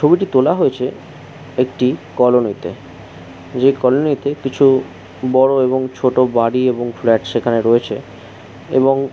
ছবিটি তোলা হয়েছে একটি কলোনিতে । যে কলোনি - তে কিছু বড় এবং ছোট বাড়ি এবং ফ্ল্যাট সেখানে রয়েছে এবং--